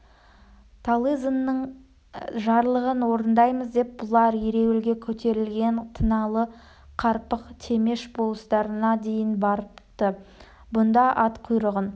талызинның жарлығын орындаймыз деп бұлар ереуілге көтерілген тыналы қарпық темеш болыстарына дейін барыпты бұнда ат құйрығын